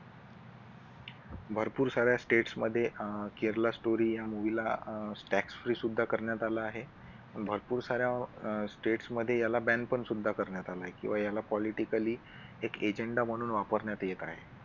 भरपूर साऱ्या states मध्ये अह केरला story या movie ला अह tax free सुद्धा करण्यात आला आहे. भरपूर साऱ्या steps मध्ये त्याला banned सुद्धा करण्यात आला आहे किंवा याला politically एक agenda म्हणून वापरण्यात येत आहे.